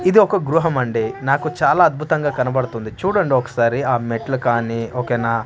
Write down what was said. ఇదొక గృహమండి నాకు చాలా అద్భుతంగా కనబడుతుంది చూడండి ఒకసారి ఆ మెట్లు కానీ ఓకే నా.